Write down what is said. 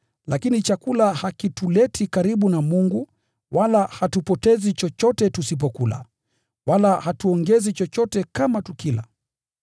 Lakini chakula hakituleti karibu na Mungu, wala hatupotezi chochote tusipokula, wala hatuongezi chochote kama tukila.